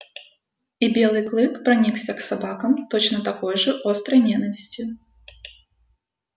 и белый клык проникся к собакам точно такой же острой ненавистью